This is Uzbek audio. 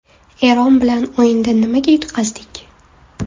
Eron bilan o‘yinda nimaga yutqazdik?